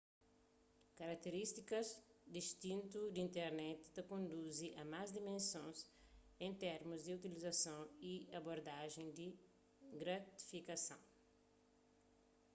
karakterístikas distintu di internet ta konduzi a más dimensons en termus di utilizasons y abordajen di gratifikason